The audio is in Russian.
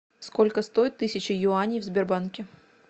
сколько стоит тысяча юаней в сбербанке